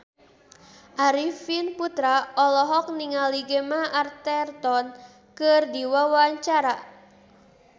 Arifin Putra olohok ningali Gemma Arterton keur diwawancara